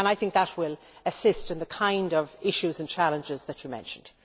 I think that will assist in the kind of issues and challenges that you mentioned.